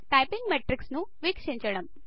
typing metrics ను వీక్షించడం